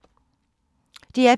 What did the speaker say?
DR P3